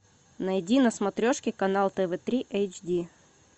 найди на смотрешке канал тв три эйч ди